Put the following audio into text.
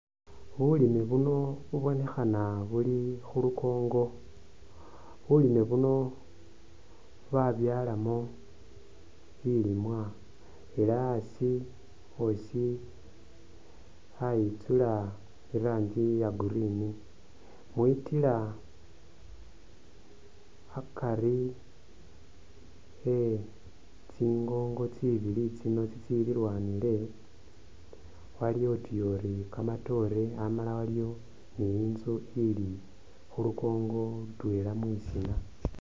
Bulime buno bubonekhana buli khulunkongo, bulime buno babyalamo bilimwa elah asi osi ayitsula irangi iya green, mwitila akari e'tsingongo tsino tsililwanile aliwo utuyori kamatoore amala waliwo ni'inzu ili khulunkongo lutwela mwisiina